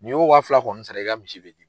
N'i y'o wa fila kɔni sara i ka misi bɛ di.